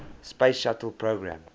space shuttle program